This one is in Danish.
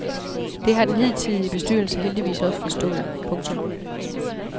Det har den hidtidige bestyrelse heldigvis også forstået. punktum